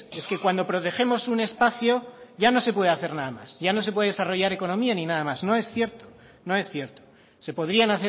es que cuando protegemos un espacio ya no se puede hacer nada más ya no se puede desarrollar economía ni nada más no es cierto no es cierto se podrían